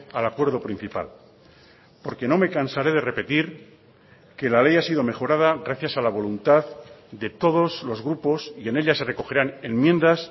al acuerdo principal porque no me cansaré de repetir que la ley ha sido mejorada gracias a la voluntad de todos los grupos y en ella se recogerán enmiendas